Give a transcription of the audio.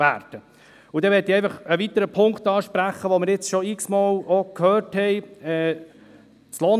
Und dann möchte ich einen weiteren Punkt ansprechen, den wir jetzt auch schon x-mal gehört haben.